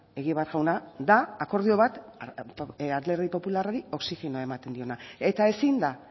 egibar jauna da akordio bat alderdi popularrari oxigenoa ematen diona eta ezin da